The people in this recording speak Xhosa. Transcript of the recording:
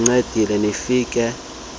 nincedile nifike besele